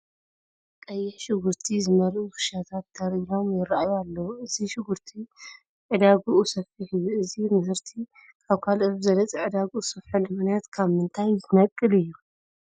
ቀይሕ ሽጉርቲ ዝመልኡ ክሻታት ተር ኢሎም ይርአዩ ኣለዉ፡፡ እዚ ሽጉርቲ ዕዳግኡ ሰፊሕ እዩ፡፡ እዚ ምህርቲ ካብ ካልኦት ብዝበለፀ ዕዳግኡ ዝሰፍሐሉ ምኽንያት ካብ ምንታይ ዝነቅል እዩ?